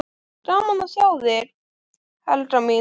Gaman að sjá þig, Helga mín!